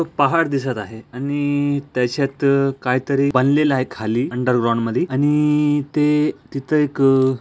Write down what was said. पहाड दिसत आहे आणि त्याच्यात काय तरी बनलेला आहे खाली अन्डरग्राऊंड मध्ये आणि ते तिथे एक --